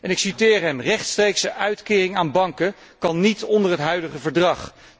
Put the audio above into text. Ik citeer hem Rechtstreekse uitkering aan banken kan niet onder het huidige verdrag.